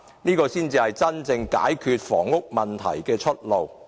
這才是真正解決房屋問題的出路。